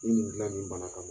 dilan nin bana kama.